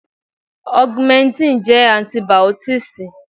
Augmentin jẹ́ Antibìọ́tììsì.